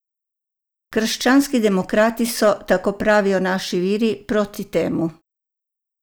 Krščanski demokrati so, tako pravijo naši viri, proti temu.